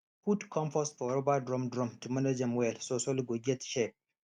put compost for rubber drum drum to manage am well so soil go get shape